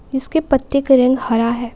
इसके पत्ते का रंग हरा है।